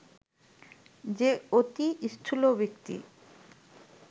যে অতি স্থূল ব্যক্তি